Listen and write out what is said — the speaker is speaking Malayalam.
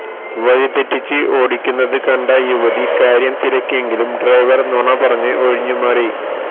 വഴിതെറ്റിച്ച് ഓടിക്കുന്നത് കണ്ട് യുവതി കാര്യം തിരക്കിയെങ്കിലും ഡ്രൈവർ നുണ പറഞ്ഞ് ഒഴിഞ്ഞുമാറി